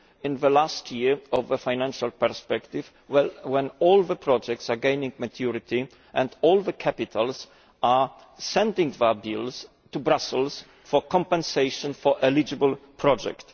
in the last year of the financial perspective when all the projects are gaining maturity and all the capitals are sending their bills to Brussels for compensation for eligible projects.